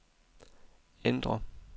ændr